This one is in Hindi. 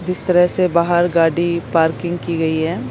जिस तरह से बाहर गाड़ी पार्किंग की गई है।